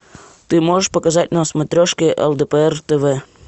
ты можешь показать на смотрешке лдпр тв